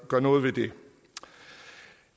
gør noget ved det